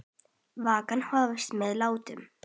Vikan hófst með látum.